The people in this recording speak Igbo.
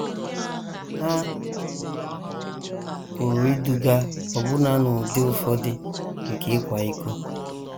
Ha pụrụ iduga ọbụna n’ụdị ụfọdụ nke ịkwa iko.